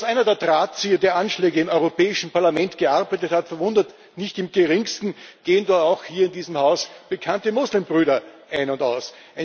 Dass einer der Drahtzieher der Anschläge im Europäischen Parlament gearbeitet hat, verwundert nicht im Geringsten, gehen doch auch hier in diesem Haus bekannte Muslimbrüder ein und aus.